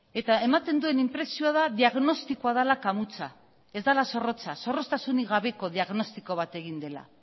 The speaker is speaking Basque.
eta ematen duen inpresioa da diagnostikoa dela kamutsa ez dela zorrotza zorroztasunik gabeko diagnostiko bat egin dela